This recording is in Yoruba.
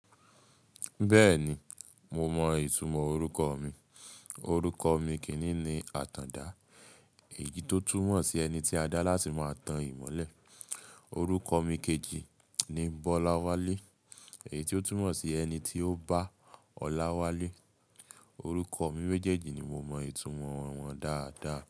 Bẹ́ẹ̀ni, mo mọ ìtumọ̀ orúkọ mi. Orúkọ mi kíní ni Àtàndá, èyí tó túmọ̀ sí ẹni tí a dá láti máa tan ìmọ́lẹ̀. Orúkọ mi kejì ni Bọ́láwálé, èyí tó túmọ̀ sí ẹni tí ó bá ọlá wá lé. Orúkọ mi méjèèjì ni mo mọ ìtumọ̀ wọn dáadáa.